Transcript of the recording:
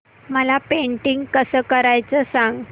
मला पेंटिंग कसं करायचं सांग